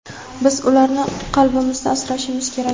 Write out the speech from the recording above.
biz ularni qalbimizda asrashimiz kerak.